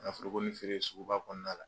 Ŋa forokonin feere suguba kɔɔna la